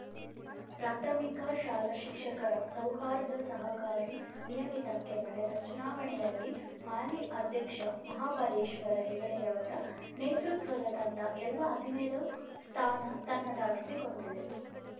ಪ್ರಾಥಮಿಕ ಶಾಲಾ ಶಿಕ್ಷಕರ ಸೌಹಾರ್ದ ಸಹಕಾರಿ ನಿಯಮಿತಕ್ಕೆ ನಡೆದ ಚುನಾವಣೆಯಲ್ಲಿ ಹಾಲಿ ಅಧ್ಯಕ್ಷ ಮಹಾಬಲೇಶ್ವರ ಹೆಗಡೆಯವರ ನೇತೃತ್ವದ ತಂಡ ಎಲ್ಲ ಹದಿನೇಳು ಸ್ಥಾನ ತನ್ನದಾಗಿಸಿಕೊಂಡಿದೆ